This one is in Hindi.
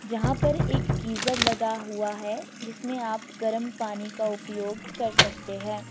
जहाँं पर एक गीजर लगा हुआ हैजिसमें आप गर्म पानी का उपयोग कर सकते हैं।